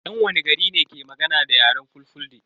Yan wani gari ne ke magana da yaren fulfulde?